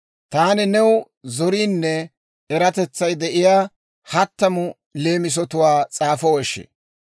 Taani new zoriinne eratetsay de'iyaa hattamu leemisatwaa s'aafoweshi!